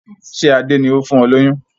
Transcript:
Ṣé Adé ni ó fún ọ ní oyún?